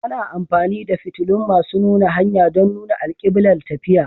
Ana amfani da fitilun masu nuna hanya don nuna alkiblar tafiya.